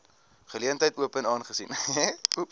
geleentheid open aangesien